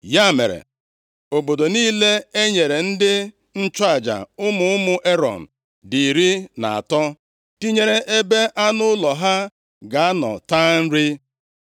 Ya mere, obodo niile e nyere ndị nchụaja, ụmụ ụmụ Erọn dị iri na atọ, tinyere ebe anụ ụlọ ha ga-anọ taa nri.